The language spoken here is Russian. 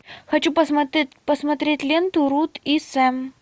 хочу посмотреть ленту рут и сэм